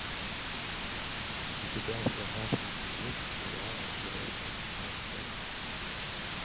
у тебя в загашнике есть сериал отбросы часть пять